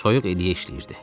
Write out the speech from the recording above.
Soyuq elə işləyirdi.